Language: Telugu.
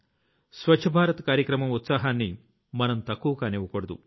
స్వచ్ఛ భారత్ కార్యక్రమం ఉత్సాహాన్ని మనం తక్కువ కానివ్వకూడదు